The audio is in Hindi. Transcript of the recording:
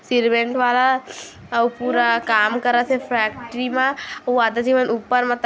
सीमेंट वाला अउ पूरा काम करत हे फेक्ट्री मा अउ आधा झी मन ऊपर मत--